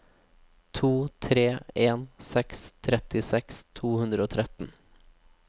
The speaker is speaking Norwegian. to tre en seks trettiseks to hundre og tretten